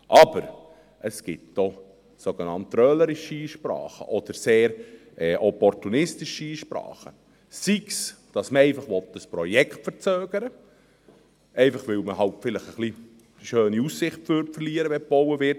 Aber es gibt auch sogenannt trölerische Einsprachen oder sehr opportunistische Einsprachen, sei es, dass man einfach ein Projekt verzögern will, einfach, weil man halt vielleicht ein bisschen eine schöne Aussicht verlieren würde, wenn gebaut wird.